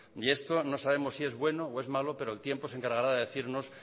y esto no sabemos si es bueno o malo pero el tiempo se encargará de decirlo